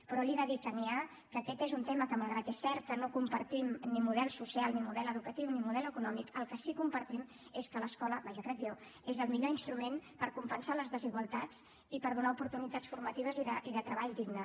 però li he de dir que n’hi ha que aquest és un tema en què malgrat que és cert que no compartim ni model social ni model educatiu ni model econòmic el que sí que compartim és que l’escola vaja crec jo és el millor instrument per compensar les desigualtats i per donar oportunitats formatives i de treball digne